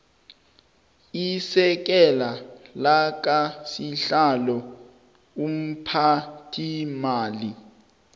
isekela lakasihlalo umphathiimali